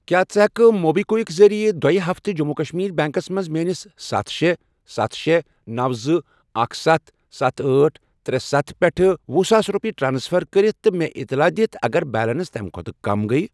کیٛاہ ژٕ ہٮ۪کہٕ موبی کُوِک ذٔریعہٕ دۄیہِ ہفتہِ جٔموں کشمیٖر بیٚنٛکَس منٛز میٲنِس ستھَ، شے، ستھَ، شے، نوَ، زٕ، اکھَ، ستھَ، ستھَ، أٹھ، ترے، ستھَ، پٮ۪ٹھ ۄہُ ساس رۄپیہِ ٹرانسفر کٔرِتھ تہٕ مےٚ اطلاع دِتھ اگر بیلنس تَمہِ کھۄتہٕ کم گٔیۍ؟